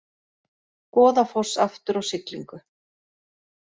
Goðafoss aftur á siglingu